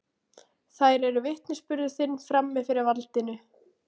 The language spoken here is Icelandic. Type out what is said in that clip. Þær eru vitnisburður þinn frammi fyrir valdinu.